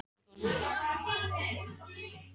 Hvernig var að spila þennan leik?